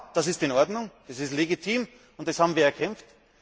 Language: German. Ja, das ist in Ordnung, das ist legitim, das haben wir erkämpft.